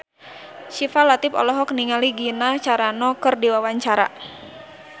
Syifa Latief olohok ningali Gina Carano keur diwawancara